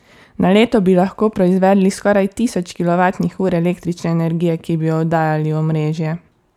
Na leto bi lahko proizvedli skoraj tisoč kilovatnih ur električne energije, ki bi jo oddajali v omrežje.